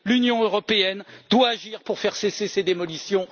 L'Union européenne doit agir pour faire cesser ces démolitions.